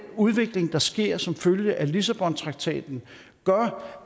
udvikling der sker som følge af lissabontraktaten gør